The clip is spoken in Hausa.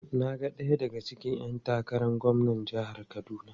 Na ga daya daga cikin ‘yan takarar gwamnan jihar Kaduna.